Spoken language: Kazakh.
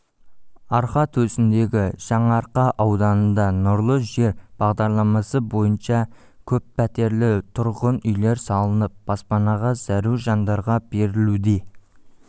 арқа төсіндегі жаңаарқа ауданында нұрлы жер бағдарламасы бойынша көппәтерлі тұрғын үйлер салынып баспанаға зәру жандарға берілуде